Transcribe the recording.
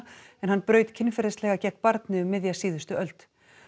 en hann braut kynferðislega gegn barni um miðja síðustu öld